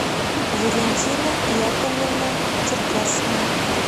валентина яковлевна черкасова